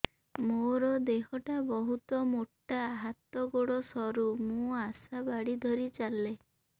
ମୋର ଦେହ ଟା ବହୁତ ମୋଟା ହାତ ଗୋଡ଼ ସରୁ ମୁ ଆଶା ବାଡ଼ି ଧରି ଚାଲେ